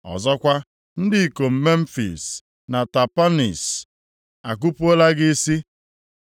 Ọzọkwa, ndị ikom Memfis na Tapanhis a kupuola gị isi.